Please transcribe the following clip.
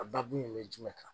A dakun in be jumɛn kan ?